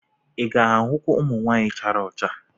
Ị ga-ahụkwu ụmụ nwanyị chara ọcha?